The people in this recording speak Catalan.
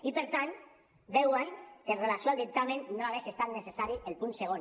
i per tant veuen que amb relació al dictamen no hauria estat necessari el punt segon